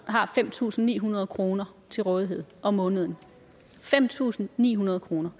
har fem tusind ni hundrede kroner til rådighed om måneden fem tusind ni hundrede kroner